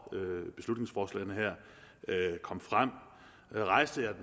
beslutningsforslagene her kom frem rejste jeg